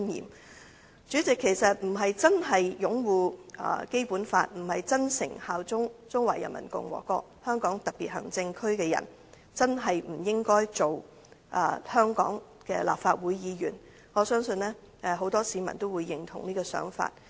代理主席，不是真的擁護《基本法》、不是真誠效忠中華人民共和國香港特別行政區的人，便真的不應該擔任香港立法會議員，我相信很多市民均會認同這想法。